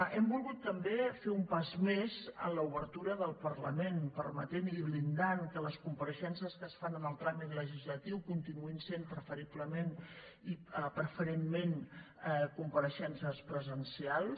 hem volgut també fer un pas més en l’obertura del parlament permetent i blindant que les compareixences que es fan en el tràmit legislatiu continuïn sent preferentment compareixences presencials